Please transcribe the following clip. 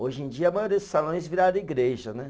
Hoje em dia, a maioria dos salões viraram igreja, né?